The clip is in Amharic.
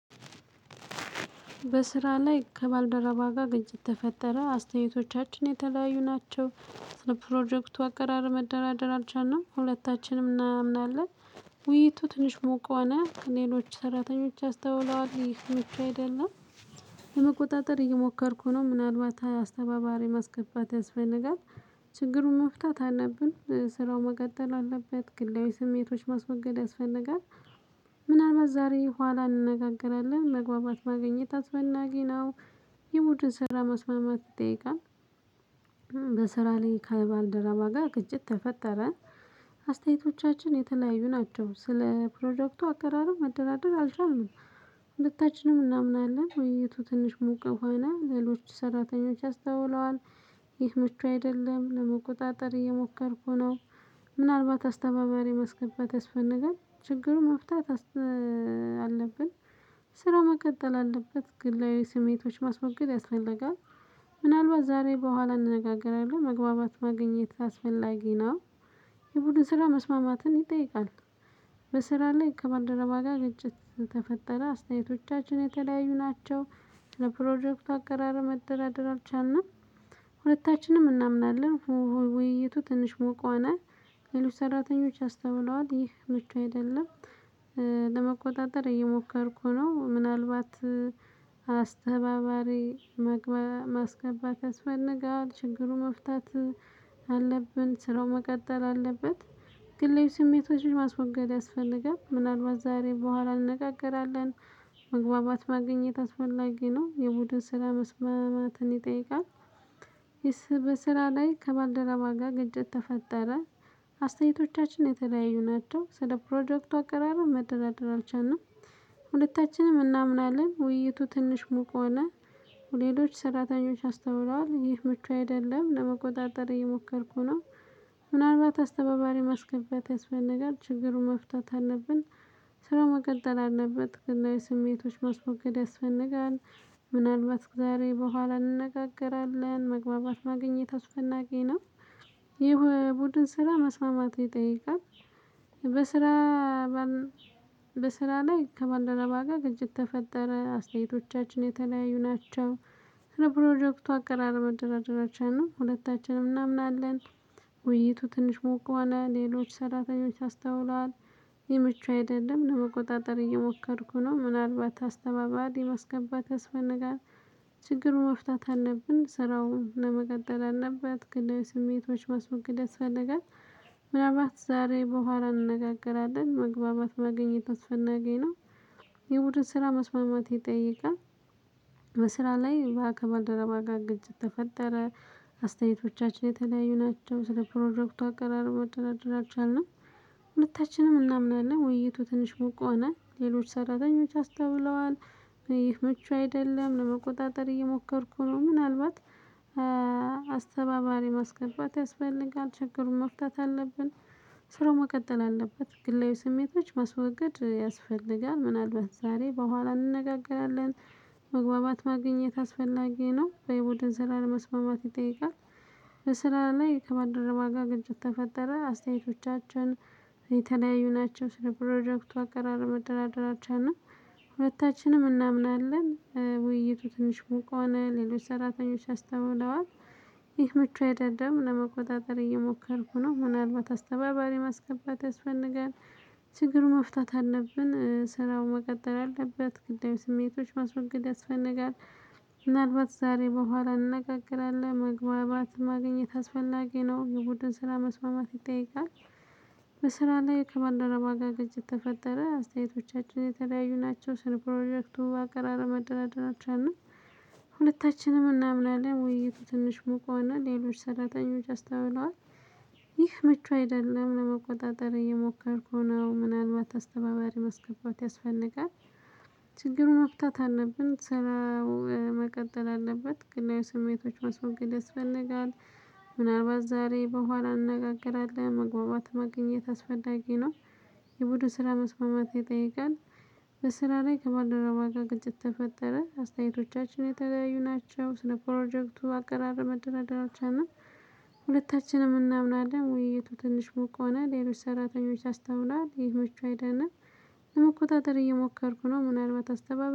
በስራ ላይ ከባልደረባ ጋር ግጭት ተፈጠረ። አስተያየቶቻችን የተለያዩ ናቸው። ፕሮጀክቱ አቀራረብ መደራደር አልቻልንም። ሁለታችንም እናምናለን። ውይይቱ ትንሽ ሞቋና ሌሎች ሰራተኞች አስተውለዋል። ይህ ምቹ አይደለም። ለመቆጣጠር እየሞከርኩ ነው። ምናልባት አስተባባሪ ማስገባት ያስፈልጋል። ችግሩን መፍታት አለብን። ስራው መቀጠል አለበት። ግለያዊ ስሜቶች ማስወገድ ያስፈልጋል። ምናልባት ዛሬ ኋላ እንነጋገራለን። መግባባት ማግኘት አስፈላጊ ነው። የቡድን ስራ መስማማት ይጠይቃል። በስራ ላይ ካልባል ደረባ ጋር ግንጭት ተፈጠረ። አስተያየቶቻችን የተለያዩ ናቸው። ስለ ፕሮጀክቱ አቀራረቡ መደራደር አልቻልንም። ሁታችንም እናምናለን። ውይይቱ ትንሽ ሙቅ ሆነ። ሌሎች ሰራተኞች አስተውለዋል። ይህ ምቹ አይደለም። ለመቆጣጠር እየሞከርኩ ነው። ምናልባት አስተባባሪ ማስገባት ያስፈልጋል። ችግሩ መፍታት አለብን። ስራው መቀጠል አለበት። ግላዊ ስሜቶች ማስወገድ ያስፈልጋል። ምናልባት ዛሬ በኋላ እንነጋገራለን። መግባባት ማግኘት አስፈላጊ ነው። የቡድን ስራ መስማማትን ይጠይቃል። በስራ ላይ ከባልደረባ ጋር ግጭት ተፈጠረ። አስተያየቶቻችን የተለያዩ ናቸው። ለፕሮጀክት አቀራረብ መደራደር አልቻልንም። ሁለታችንም እናምናለን። ውይይቱ ትንሽ ሙቅ ሆነ። ሌሎች ሰራተኞች አስተውለዋል። ይህ ምቹ አይደለም። ለመቆጣጠር እየሞከርኩ ነው። ምናልባት አስተባባሪ ማስገባት ያስፈልጋል። ችግሩ መፍታት ስራው መቀጠል አለበት። ግላዊ ስሜቶችን ማስወገድ ያስፈልጋል። ምናልባት ዛሬ በኋላ እንነጋገራለን። መግባባት ማግኘት አስፈላጊ ነው። የቡድን ስራ መስማማትን ይጠይቃል። በስራ ላይ ከባልደረባ ጋር ግጭት ተፈጠረ። አስተያየቶቻችን የተለያዩ ናቸው። ስለ ፕሮጀክቱ አቀራረብ መደራደር አልቻልንም። ሁለታችንም እናምናለን። ውይይቱ ትንሽ ሙቅ ሆነ ሌሎች ሰራተኞች አስተውለዋል። ይህ ምቹ አይደለም ለመቆጣጠር እየሞከርኩ ነው። ምናልባት አስተባባሪ ማስገባት ያስፈልጋል። ችግሩን መፍታት አለብን። ስራው መቀጠል አለበት። ግላዊ ስሜቶችን ማስሞገድ ያስፈነጋል። ምናልባት ዛሬ በኋላ እንነጋገራለን። መግባባት ማግኘት አስፈናጊ ነው። የቡድን ስራ መስማማት ይጠይቃል። በስራ በስራ ላይ ከማልደረባ ጋር ግንጭት ተፈጠረ። አስተያየቶቻችን የተለያዩ ናቸው። ለፕሮጀክቱ አቀራረብ መደራደር አልቻልንም ሁለታችንም እናምናለን። ውይይቱ ትንሽ ሙቅ ሆነ። ሌሎች ሰራተኞች አስተውለዋል። ይህ ምቹ አይደለም። ለመቆጣጠር እየሞከርኩ ነው። ምናልባት አስተባባሪ የማስገባት ያስፈነጋል። ችግሩን መፍታት አለብን። ስራውን ለመቀጠል አለበት። ግላዊ ስሜቶች ማስወገድ ያስፈለጋል። ምናባት ዛሬ በኋላ እንነጋገራለን። መግባባት ማግኘት አስፈላጊ ነው። የቡድን ስራ መስማማት ይጠይቃል። በስራ ላይ በባልደረባ ጋር ግጭት ተፈጠረ። አስተያየቶቻችን የተለያዩ ናቸው። ስለ ፕሮጀክቱ አቀራረቡ መደራደር አልቻልንም ሁለታችንም እናምናለን። ውይይቱ ትንሽ ሙቅ ሆነ። ሌሎች ሰራተኞች አስተውለዋል። ይህ ምቹ አይደለም፤ ለመቆጣጠር እየሞከርኩ ነው። ምናልባት አስተባባሪ ማስገባት ያስፈልጋል። ችግሩን መፍታት አለብን። ስራው መቀጠል አለበት። ግላዊ ስሜቶች ማስወገድ ያስፈልጋል። ምናልባት ዛሬ በኋላ እንነጋገራለን፤ መግባባት ማግኘት አስፈላጊ ነው። የቡድን ስራ ለመስማማት ይጠይቃል። በስራ ላይ ከባልደረባ ጋር ግንጭት ተፈጠረ። አስተያየቶቻችን የተለያዩ ናቸው። ስለ ፕሮጀክቱ አቀራረብ መደራደር አልቻልንም። ሁታችንም እናምናለን ውይይቱ ትንሽ ሙቅ ሆነ ሌሎች ሰራተኞች አስተውለዋል። ይህ ምቹ አይደለም። ለመቆጣጠር እየሞከርኩ ነው። ምናልባት አስተባባሪ ማስገባት ያስፈልጋል። ችግሩን መፍታት አለብን። ስራው መቀጠል አለበት። ግላዊ ስሜቶች ማስወገድ ያስፈልጋል። ምናልባት ዛሬ በኋላ እንነጋገራለን። መግባባት ማግኘት አስፈላጊ ነው። የቡድን ስራ መስማማት ይጠይቃል። በስራ ላይ ከባልደረባ ጋር ግጭት የተፈጠረ። አስተያየቶቻችን የተለያዩ ናቸው። ስለ ፕሮጀክቱ አቀራረብ መደራደር አልቻልንም። ሁለታችንም እናምናለን። ውይይቱ ትንሽ ሙቁ ሆነ። ሌሎች ሰራተኞች አስተውለዋል። ይህ ምቹ አይደለም ለመቆጣጠር እየሞከርኩ ነው ምናልባት አስተባባሪ መስገባት ያስፈጋል ችግሩን መፍታት አለብን። ስራው መቀጠል አለበት። ግላዊ ስሜቶች ማስወገድ ይፈነጋል። ምናልባት ዛሬ በኋላ እንነጋገራለን። መግባባት ማግኘት አስፈላጊ ነው። የቡድን ስራ መስማማት ይጠይቃል። በስራ ላይ ከባልደረባ ጋር ግጭት ተፈጠረ። አስተያየቶቻችን የተለያዩ ናቸው። ስለ ፕሮጀክቱ አቀራረብ መደራደር አልቻልንም። ሁለታችንም እናምናለን። ውይይቱ ትንሽ ሞቅ ሆነ። ሌሎች ሰራተኞች አስተውለዋል። ይህ ምቹ አይደለም። ለመቆጣጠር እየሞከርኩ ነው። ምናልባት አስተባባሪ